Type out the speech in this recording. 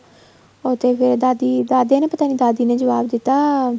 ਉਹ ਤੇ ਫ਼ਿਰ ਦਾਦੀ ਦਾਦਾ ਨੇ ਪਤਾ ਨਹੀਂ ਦਾਦੀ ਨੇ ਜੁਆਬ ਦਿੱਤਾ